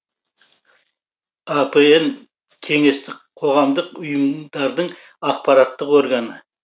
апн кеңестік қоғамдық ұйымдардын ақпараттық органы